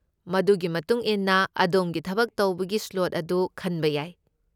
ꯃꯗꯨꯒꯤ ꯃꯇꯨꯡ ꯏꯟꯅ ꯑꯗꯣꯝꯒꯤ ꯊꯕꯛ ꯇꯧꯕꯒꯤ ꯁ꯭ꯂꯣꯠ ꯑꯗꯨ ꯈꯟꯕ ꯌꯥꯏ꯫